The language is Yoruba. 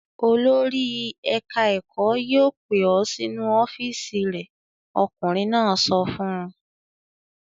"Olórí ẹ̀ka-ẹ̀kọ́ yóò pè ọ́ sínú ọ́fíísì rẹ̀!" Ọkùnrin náà sọ fún un.